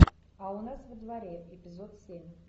а у нас во дворе эпизод семь